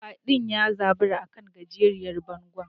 Kwadin ya zabura a kan gajeriyar bango.